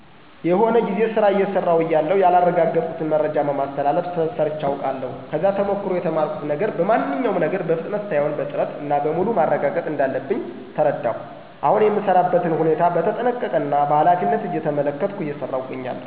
የሆነ ጊዜ ስራ አየሰራው እያለሁ ያላረጋገጥኩትን መረጃ በማስተላለፍ ስህተት ሰርቼ አቃለሁ። ከዛ ተሞክሮ የተማርኩት ነገር በማንኛውም ነገር በፍጥነት ሳይሆን በጥረት እና በሙሉ ማረጋገጥ እንዳለብኝ ተረዳሁ። አሁን የምሰራበትን ሁኔታ በተጠንቀቀ እና በኃላፊነት እየተመለከትኩ እየሰራው እገኛለሁ።